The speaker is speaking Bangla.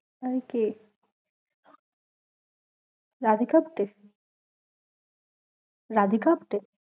আর কে? রাধিকাপ্তে? রাধিকাপ্তে?